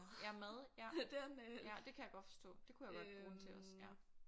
Ja mad ja ja det kan jeg godt forstå det kunne jeg godt bruge den til også ja